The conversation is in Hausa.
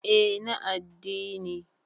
eh na adddini